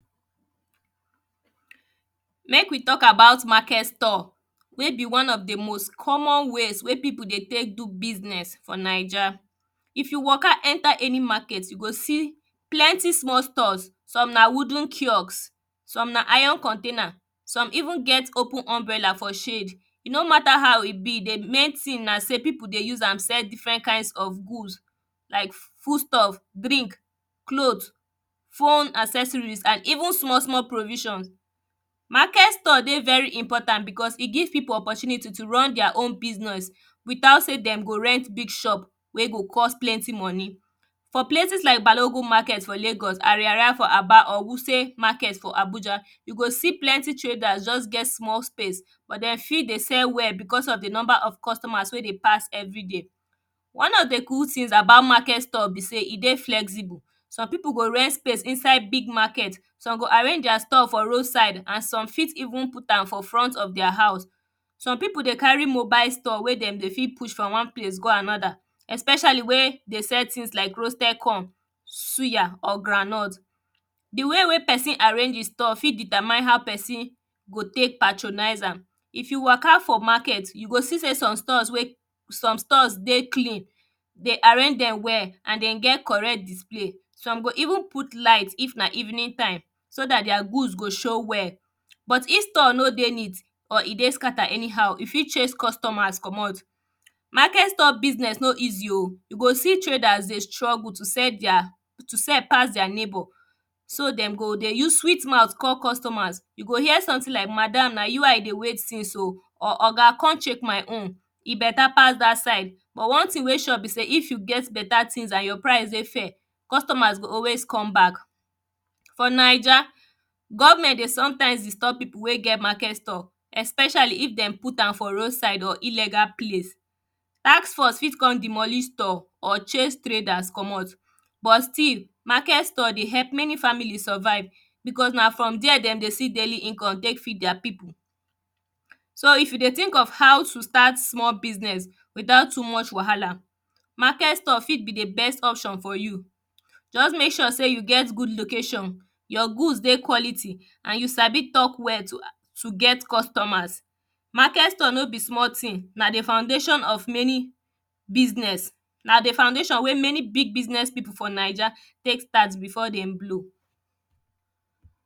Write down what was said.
Meek we talk about market store wey be one of di most common ways wey pipu deytek do business for ninja. If yu waka enter any market you go see plenty small stores some na wooden kiost some na iron container, some even get open umbrella for shade, e no mata how e be na sey pipu dey use am sell different kinds of good like food stuff, drink, cloth, phone accessories and even small small provisions. Market store dey very important because e give pipu opportunity to run their wn business without sey dem go rent big shop wey go cost oplenty moni. For places like balogun maket for lagos, ariari for aba or wuse market for Abuja, you go see sey plenty traders get small space bt den fit dey sell well because of di number of customrs wey dey pass everyday. One of di good things about market store be sey e dey flexible some pipu go rent space inside big market, some go arrange their store for road side and some fit even put am for front of their house, some pipu dey carry mobile store wey dem fit push from wanplace to anoda especiall wen – dey dey sell roasted corn, suya or groundnut. Di ay wey pesin arrange e store fit sdetermine how pesin go tek patronize am, if you waka for market, you go see sey some tores dey clen, de arrange am well and den get correct display, some go even put light if na evenng time soe dat their good go show well, but if store no dey neat, e fit chase customers commot. Market store business no easy o, you go see taders dey struggle to sell pass their neigbour so den go use sweet mouth to call their customers. You go hear something like madam na you I dey wait since o or oga kon check my own, e beta pass dat side but one thing wey sure sey if yu get beta things and your price dey fair, customrs go always come back. For ninja, government dey sometimes disturb pipu wey get market store especially if dem put am for road side or illegal place. Taskforce fit kon demolish store or chase traders commot but still market store dey help many families survive because na from there de dey see daily income tek feed their pipu. So if you dey think of how to start business without too much wahala, market store fit be di best option for you, just mek sure sey you get good location, your good dey good quality and you sabi talk well to get customers. Market store no be small thing, na di foundation wey many big business pipu for ninja tek start before dem blow.